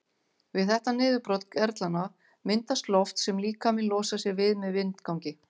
Við þetta niðurbrot gerlanna myndast loft sem líkaminn losar sig við með vindgangi.